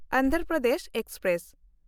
Andhra Pradesh express